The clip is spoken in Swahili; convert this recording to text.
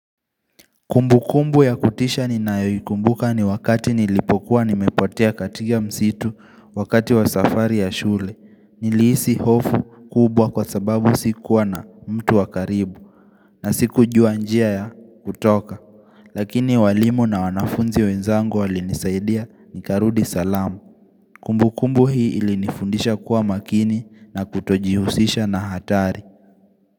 Kumbukumbu ya kutisha ninayoyikumbuka ni wakati nilipokuwa nimepotea katika msitu wakati wa safari ya shule. Nilhisi hofu kubwa kwa sababu sikuwa na mtu wakaribu na sikujua njia ya kutoka. Lakini walimu na wanafunzi wenzangu walinisaidia nikarudi salama. Kumbukumbu hii ilinifundisha kuwa makini na kutojihusisha na hatari.